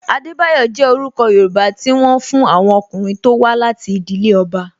Adebayo jẹ orúkọ Yoruba ti wọn fún àwọn ọkùnrin tó wá láti ìdílé ọba